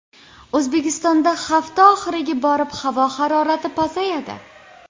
O‘zbekistonda hafta oxiriga borib havo harorati pasayadi.